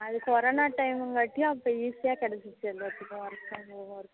அது corona time இங்கடியும் அப்போ easy ஆ கேடச்சிச்சு எல்லாத்துக்கும்